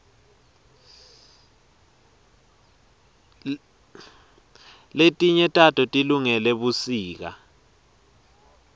letinye tato tilungele busika